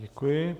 Děkuji.